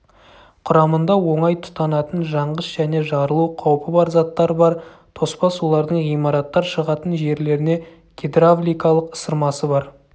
құрамында оңай тұтанатын жанғыш және жарылу қаупі бар заттар бар тоспа сулардың ғимараттар шығатын жерлеріне гидравликалық ысырмасы бар